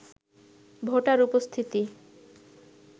voter উপস্থিতি